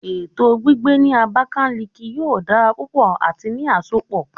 Eto gbigbe ni Abakiliki yoo dara pupọ ati ni asopọ